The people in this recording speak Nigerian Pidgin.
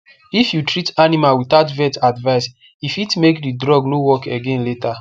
if you treat animal without vet advice e fit make the drug no work again later